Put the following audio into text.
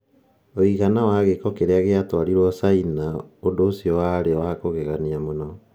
Ũigana wa gĩko kĩrĩa gĩatwarirũo China ũndũ ũcio warĩ wa kũgegania mũno.